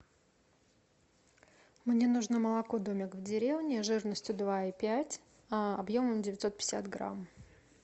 мне нужно молоко домик в деревне жирностью два и пять объемом девятьсот пятьдесят грамм